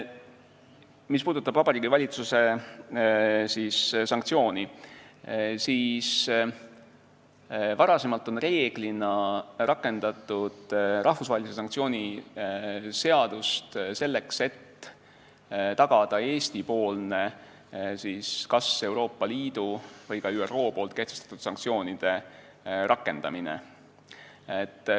Mis puudutab Vabariigi Valitsuse sanktsiooni, siis varem on reeglina rakendatud rahvusvahelise sanktsiooni seadust selleks, et tagada Eesti-poolne kas Euroopa Liidu või ÜRO kehtestatud sanktsioonide rakendamine.